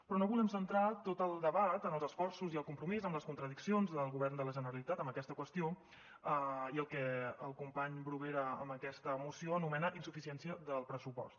però no volem centrar tot el debat en els esforços i el compromís en les contradiccions del govern de la generalitat en aquesta qüestió i en el que el company bruguera amb aquesta moció anomena insuficiència del pressupost